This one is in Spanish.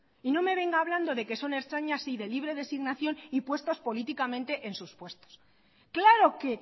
y no me venga hablando de que son ertzainas y de libre designación y puestos políticamente en sus puestos claro que